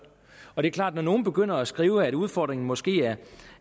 er det er klart at når nogle begynder at skrive at udfordringen måske